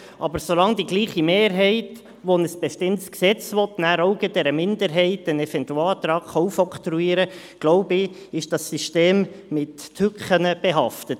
Aber solange die gleiche Mehrheit, die ein bestimmtes Gesetz will, der Minderheit einen Eventualantrag aufoktroyieren kann, glaube ich, ist das System mit Tücken behaftet.